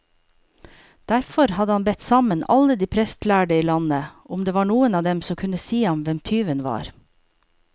Derfor hadde han bedt sammen alle de prestlærde i landet, om det var noen av dem som kunne si ham hvem tyven var.